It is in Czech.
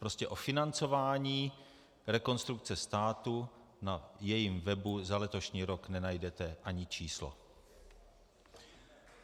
Prostě o financování Rekonstrukce státu na jejím webu za letošní rok nenajdete ani číslo.